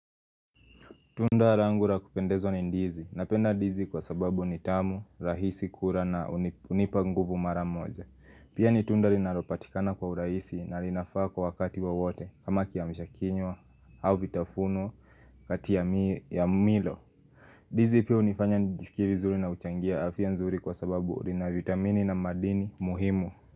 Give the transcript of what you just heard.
Tunda langu la kupendezwa ni ndizi. Napenda ndizi kwa sababu ni tamu, rahisi kula na hunipa nguvu mara moja. Pia ni tunda linalopatikana kwa urahisi na linafaa kwa wakati wowote kama kiamshakinywa au vitafunwa kati ya milo. Ndizi pia hunifanya nijiskie vizuri na huchangia afya nzuri kwa sababu lina vitamini na madini muhimu.